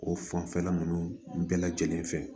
O fanfɛla nunnu bɛɛ lajɛlen fɛ